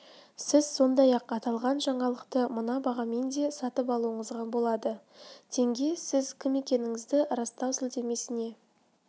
сіз сондай-ақ аталған жаңалықты мына бағамен де сатып алуыңызға болады тенге сіз кім екендігіңізді растау сілтемесіне